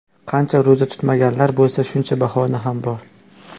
Qancha ro‘za tutmaganlar bo‘lsa, shuncha bahona ham bor.